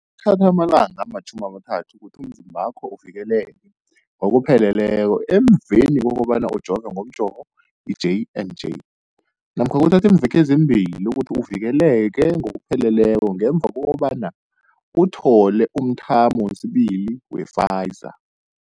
Kuthatha amalanga ama-30 ukuthi umzimbakho uvikeleke ngokupheleleko emveni kobana ujove ngomjovo i-J and J namkha kuthatha iimveke ezimbili ukuthi uvikeleke ngokupheleleko ngemva kobana uthole umthamo wesibili wePfizer.